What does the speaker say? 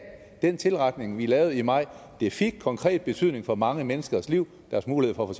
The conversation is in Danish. den tilretning vi lavede i maj fik konkret betydning for mange menneskers liv og deres mulighed for at